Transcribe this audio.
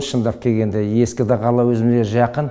шындап келгенде ескі де қала өзіме жақын